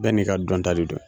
Bɛɛ n'i ka dɔnta de do.